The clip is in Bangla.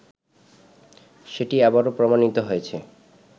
সেটি আবারও প্রমাণিত হয়েছে